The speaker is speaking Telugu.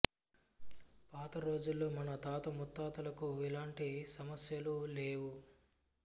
పాత రోజుల్లో మన తాత ముత్తాతలకు ఇలాంటి సమస్యలు లేవు